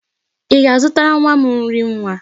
Ị ga-azụtara nwa m nri nwa?